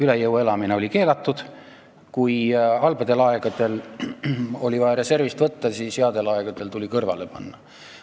Üle jõu elamine oli keelatud ja kui halbadel aegadel oli vaja reservist võtta, siis headel aegadel tuli kõrvale panna.